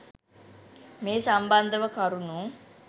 මේ සම්බන්ධව කරුණු